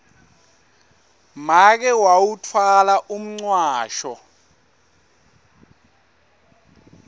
make wawutfwala umcwasho